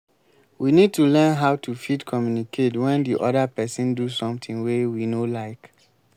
we need to learn how to fit communicate when di oda person do something wey we no like